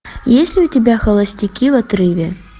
есть ли у тебя холостяки в отрыве